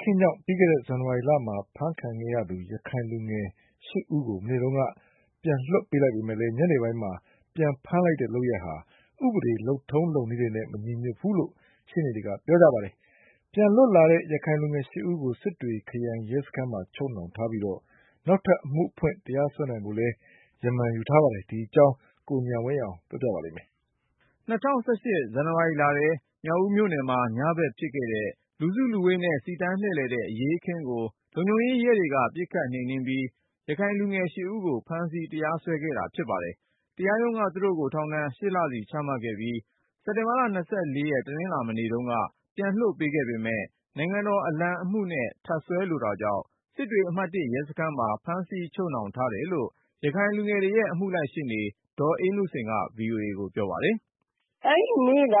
ခင်းကြောင့် ပြီးခဲ့တဲ့ ဇန်နဝါရီလဲထဲ ဖမ်းဆီးချုပ်နှောင်ခဲ့တဲ့ ရခိုင်လူငယ်(၈)ဦးကို မနေ့တုန်းက ပြန်လွှတ်ပေးလိုက်ပေမယ့် ညနေပိုင်းမှာ ပြန်လည်ဖမ်းဆီးလိုက်တဲ့ လုပ်ရပ်ဟာ ဥပဒေ လုပ်ထုံးလုပ်နည်းတွေနဲ့ မညီညွတ်ဘူးလို့ အမှုလိုက်ရှေ့နေတွေက ပြောပါတယ်။ ပြန်လွတ်လာတဲ့ ရခိုင်လူငယ်(၈)ဦးကို စစ်တွေခရိုင်ရဲစခန်းမှာ ချုပ်နှောင်ထားပြီး နောက်ထပ်အမှုဖွင့် တရားစွဲနိုင်ဖို့ ရမန် ယူထားကြောင်း ရှေ့နေတွေက ပြောပါတယ်။ ဒီအကြောင်း ကိုဉာဏ်ဝင်းအောင်က ပြောပြမှာပါ။ ၂၀၁၈ ဇန်နဝါရီလဲထဲ မြောက်ဦးမြို့နယ်မှာ ညဘက်ဖြစ်ခဲ့တဲ့ လူစုလူဝေးနဲ့ စီတန်းလှည့်လည်တဲ့ အရေးအခင်းကို လုံခြုံရေး ရဲတွေက ပစ်ခတ် နှိမ်နင်းပြီး ရခိုင်လူငယ်(၈)ဦးကို ဖမ်းဆီး တရားစွဲခဲ့တာဖြစ်ပါတယ်။ တရားရုံးက သူတို့ကိုထောင်ဒဏ် (၈)လစီချမှတ်ခဲ့ပြီး စက်တင်ဘာလ(၂၄) တနင်္လာ မနေ့တုန်းက ပြန်လွှတ်ပေးခဲ့ပေမယ့် နိုင်ငံတော်အလံအမှုနဲ့ ထပ်စွဲလိုတာကြောင့် စစ်တွေအမှတ်(၁) ရဲစခန်းမှာ ဖမ်းဆီးချုပ်နှောင် ထားတယ်လို့ ရခိုင်လူငယ်တွေရဲ့ အမှုလိုက်ရှေ့နေ ဒေါ်အေးနုစိန်က VOA ကိုပြောပါတယ်။ “ အဲဒီနေ့က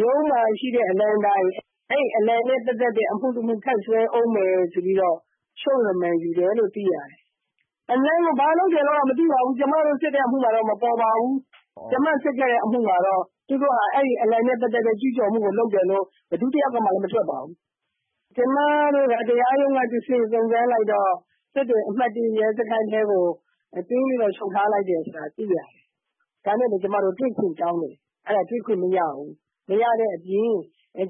ရုံးမှာရှိတဲ့အလံတိုင်.. အဲဒီ အလံနဲ့ပတ်သက်တဲ့အမှုတမှု ထပ်စွဲဦးမယ် ဆိုပြီးတော့ ချုပ်ရမန်ယူတယ်လို့ သိရတယ်။ အလံကို ဘာလုပ်တယ်လို့တော့ မသိပါဘူး။ ကျမတို့စစ်တဲ့အမှုမှာတော့ မပေါ်ပါဘူး။ ကျမစစ်ခဲ့တဲ့ အမှုမှာတော့ သူတို့ဟာ အဲဒီအလံနဲ့ ပတ်သက်တဲ့ ကျူးကျော်မှုကို လုပ်တယ်လို့ ဘယ်သူတယောက်ကမှ မထွက်ပါဘူး။ ကျမတို့က တရားရုံးကတဆင့် စုံစမ်းလိုက်တော့ (အဲဒီ ရခိုင်လူငယ် တွေကို) စစ်တွေအမှတ်(၁) ရဲစခန်းထဲကို သွင်းပြီးချုပ်ထားလိုက်တယ်ဆိုတာ သိရတယ်။ ဒါနဲ့ပဲ ကျမတို့က တွေ့ခွင့်တောင်းတယ်။ အဲဒါ တွေ့ခွင့်မရဘူး။ မရတဲ့အပြင်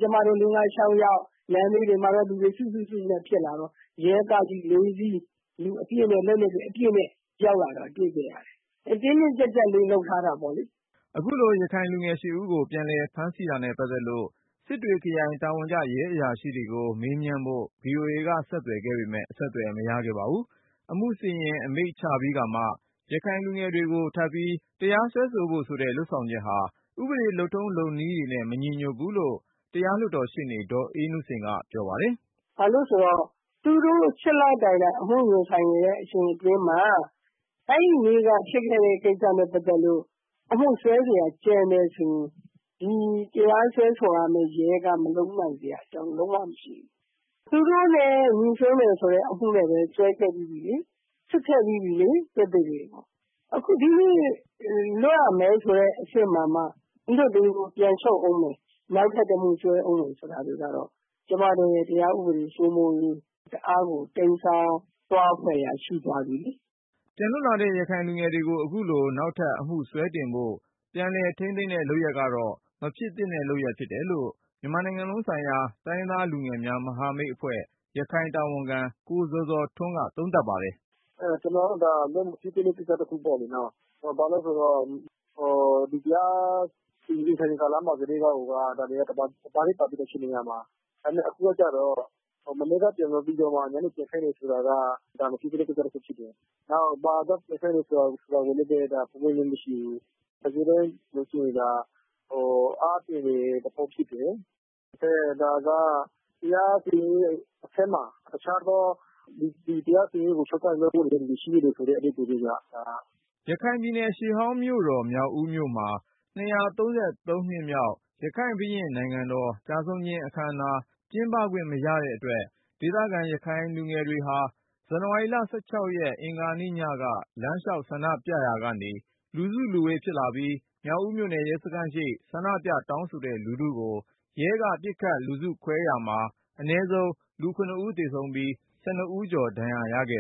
ကျမတို့ ၄-၅-၆ ယောက် လမ်းဘေးတွေမှာ လူတွေစုစု စုစုနဲ့ ဖြစ်လာတော့ ရဲကားကြီး(၄)စီး - လူအပြည့် လက်နက်တွေ အပြည့်နဲ့ ရောက်လာတာ တွေ့ရတယ်။ လုံခြုံရေး တင်းတင်းကြပ်ကြပ်လေး လုပ်ထားတာပေါ့လေ။ ” အခုလို ရခိုင်လူငယ်(၈)ဦးကို ပြန်လည်ဖမ်းဆီးတာနဲ့ပတ်သက်လို့ စစ်တွေခရိုင် တာဝန်ကျ ရဲအရာရှိတွေကို မေးမြန်းဖို့ VOA ကဆက်သွယ် ခဲ့ပေမယ့် အဆက်သွယ်မရခဲ့ပါဘူး။ အမှုစီရင် အမိန့်ချပြီးကာမှ ရခိုင်လူငယ်တွေကို ထပ်ပြီးတရားစွဲဖို့ဆိုတဲ့ လုပ်ဆောင်ချက်ဟာ ဥပဒေ လုပ်ထုံးလုပ်နည်းတွေနဲ့ မညီညွတ်ဘူးလို့ တရားလွှတ်တော်ရှေ့နေ ဒေါ်အေးနုစိန်က ပြောပါတယ်။ “ ဘာလို့လည်းဆိုတော့ သူတို့ (၈)လတိုင်တိုင် အမှုရင်ဆိုင်နေတဲ့ အချိန်အတွင်းမှာ အဲဒီနေ့က ဖြစ်ခဲ့တဲ့ကိစ္စနဲ့ ပတ်သက်လို့ အမှုစွဲစရာ ကျန်တယ်ဆိုရင် ၊ ဒီတရားစွဲဆိုရမယ့် ရဲက မလုပ်နိုင်စရာအကြောင်း လုံးဝမရှိဘူး။ သူတို့နဲ့ ညိစွန်းတယ်ဆိုတဲ့ အမှုနဲ့လည်း စွဲခဲ့ပြီးပြီလေ၊ စစ်ခဲ့ ပြီးပြီလေ။ အဲဒီတော့ ဒီနေ့ လွတ်ရမယ်ဆိုတဲ့ အဆင့်မှာမှ၊ မလွှတ်သေးဘူး ပြန်ချုပ်ဦးမယ် နောက်ထပ်တမှု စွဲဦးမယ်ဆိုတာတွေကတော့ ကျမတို့ရဲ့ တရားဥပဒေစိုးမိုးရေး တအားကို တိမ်းစောင်းသွားဖွယ်ရာ ရှိသွားပြီလေ။ ” ပြန်လွတ်လာတဲ့ ရခိုင်လူငယ်တွေကို အခုလို နောက်ထပ်အမှုစွဲတင်ဖို့ ပြန်လည်ထိန်းသိမ်းတဲ့ လုပ်ရပ်ကတော့ မဖြစ်သင့်တဲ့ လုပ်ရပ်ဖြစ်တယ် လို့ မြန်မာနိုင်ငံလုံးဆိုင်ရာ တိုင်းရင်းသားလူငယ်များမဟာမိတ်အဖွဲ့ ရခိုင်တာဝန်ခံ ကိုဇော်ဇော်ထွန်းက သုံးသပ်ပါတယ်။ “ ကျနော်ကတော့ ဒါဟာ လုံးဝ မဖြစ်သင့်တဲ့ ကိစ္စတခုလို့ မြင်တယ်ပေါ့လေ။ ဘာလို့လည်းဆိုတော့ ဒီတရားစီရင်စဉ် ကာလမှာ ကတည်းက ဒါတွေဟာ တပါထဲ ပါပြီးသားဖြစ်နေရမှာလေ။ ဒါပေမဲ့ အခုကကျတော့ မနက်ပိုင်းလွှတ်ပြီးတော့ ညနေပိုင်း ပြန်ဖမ်းတယ်ဆိုတာက ဒါ မဖြစ်သင့်တဲ့ ကိစ္စတခုဖြစ်တယ်။ နောက် ဘာကြောင့် ပြန်ဖမ်းတယ်ဆိုတာကိုလည်း ပွင့်ပွင့်လင်းလင်း မရှိဘူး။ တကယ်တမ်းဆိုရင် ဒါဟာ အားပြိုင်နေတဲ့ သဘောဖြစ်တယ်။ ဒါက တရားစီရင်ရေးအထက်မှာ အခြားသော ဒီတရားစီရင်ရေးကို ချုပ်ကိုင်နေတဲ့ တစုံတဦး ရှိနေတယ်ဆိုတဲ့ အဓိပ္ပါယ်ပဲဗျ။ ” ရခိုင်ပြည်နယ် ရှေးဟောင်းမြို့တော် မြောက်ဦးမြို့မှာ ၂၃၃ နှစ်မြောက် ရခိုင်ဘုရင့်နိုင်ငံတော် ကျဆုံးခြင်းအခမ်းအနား ကျင်းပခွင့် မရတဲ့အတွက် ဒေသခံ ရခိုင်လူငယ်တွေက ဇန်နဝါရီလ ၁၆ ရက် အင်္ဂါညက လမ်းလျှောက် ဆန္ဒပြရာကနေ လူစုလူဝေး ဖြစ်လာပြီး၊ မြောက်ဦးမြို့နယ် ရဲစခန်းရှေ့ ဆန္ဒပြ တောင်းဆိုတဲ့ လူထုကို ရဲက ပစ်ခတ်လူစုခွဲခဲ့ရာမှာ အနည်းဆုံး လူ(၇)ဦးသေဆုံးပြီး (၁၂)ကျော် ဒဏ်ရာရခဲ့